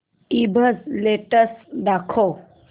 ईबझ लेटेस्ट दाखव